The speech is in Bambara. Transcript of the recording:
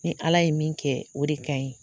Ni Ala ye min kɛ o de ka ɲi.